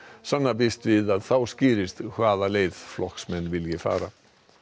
sanna býst við að þá skýrist í hvaða leið flokkurinn vilji fara